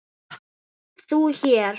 ÞÚ HÉR?